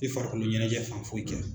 Tɛ farikoloɲɛnajɛ fan foyi kɛ.